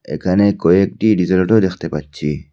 এখানে কয়েকটি diesel auto দেখতে পাচ্ছি।